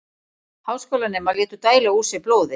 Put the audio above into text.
Háskólanemar létu dæla úr sér blóði